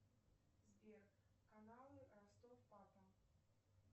сбер каналы ростов папа